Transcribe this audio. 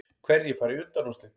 Hverjir fara í undanúrslit